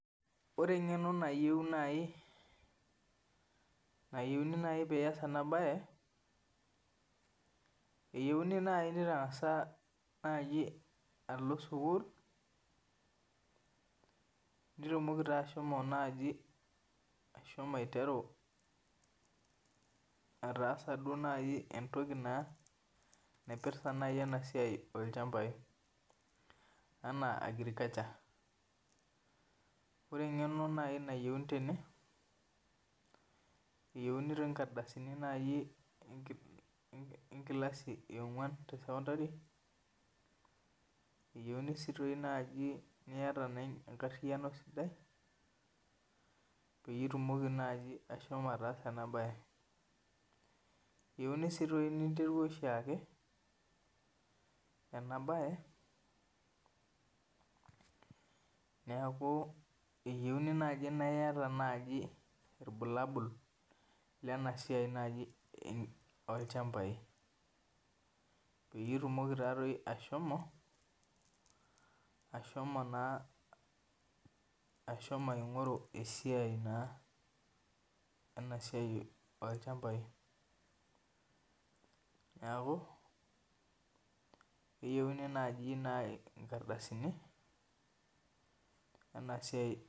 Ore eng'eno nayeu naji nayeuni naji piyas ena bae eyauni naji ning'as naji alo sukul nitumoki ashomo naji ashomo aiteru ataasa naaji entokii naa naipirta naji ena siai oo ilchambai anaa agriculture. Ore eng'eno naji nayeuni tene eyeuni inkardasini naji enkilasi eing'uan te secondary eyeuni siii naji niyata enkariano sidai pee itumoki naji ashomo ataasa ena bae. Eyouni sii naji ninterua oshi ake ena bae neeku eyeuni naji na iyata naji irbalabul lena siai naji oo lchambai pee itumoki naji ashomo ashomo naa ashomo aing'oru esiai naa ena siai oo lchambai. Neeku keyeu naji inkardasini ena siai